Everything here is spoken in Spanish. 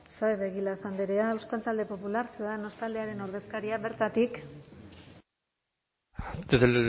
saez de egilaz andrea euskal talde popular ciudadanos taldearen ordezkaria bertatik desde